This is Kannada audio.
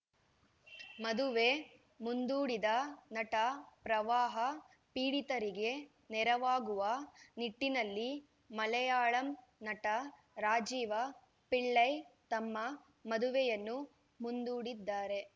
ಮದುವೆ ಮುಂದೂಡಿದ ನಟ ಪ್ರವಾಹ ಪೀಡಿತರಿಗೆ ನೆರವಾಗುವ ನಿಟ್ಟಿನಲ್ಲಿ ಮಲೆಯಾಳಂ ನಟ ರಾಜೀವ ಪಿಳ್ಳೈ ತಮ್ಮ ಮದುವೆಯನ್ನು ಮುಂದೂಡಿದ್ದಾರೆ